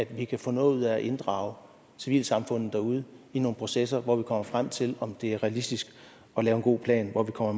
vi kan få noget ud af at inddrage civilsamfundet derude i nogle processer hvor vi kommer frem til om det er realistisk at lave en god plan hvor vi kommer